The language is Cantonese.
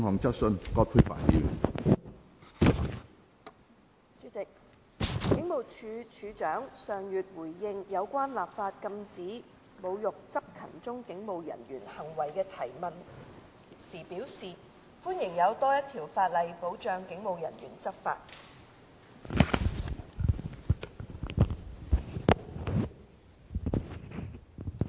主席，警務處處長上月回應有關立法禁止侮辱執勤中警務人員行為的提問時表示，歡迎有多一條法例保障警務人員執法。